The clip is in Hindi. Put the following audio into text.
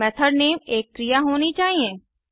और मेथड नेम एक क्रिया होनी चाहिए